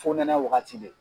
Fonɛnɛ wagati bɛ ye.